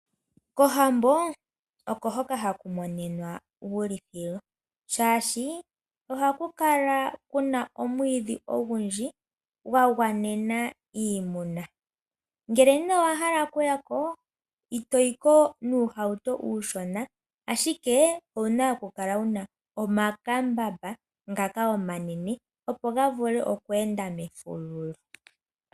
Kohambo oko hoka haku monika uulithilo shaashi ohaku kala kuna omwiidhi ogundji gwagwanena iimuna. Ngele owahala okuya ko, itoyi ko nuuhauto uushona owuna okukala wuna omakambamba ngoka omanene opo ga vule okweenda mefululu.